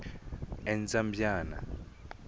endzambyana